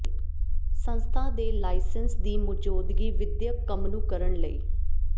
ਸੰਸਥਾ ਦੇ ਲਾਇਸੰਸ ਦੀ ਮੌਜੂਦਗੀ ਵਿਦਿਅਕ ਕੰਮ ਨੂੰ ਕਰਨ ਲਈ